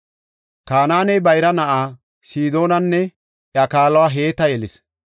Kanaaney bayra na7aa Sidoonanne iya kaaluwa Heeta yelis.